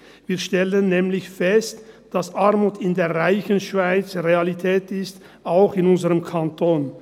Wir stellen nämlich fest, dass Armut in der reichen Schweiz Realität ist, auch in unserem Kanton.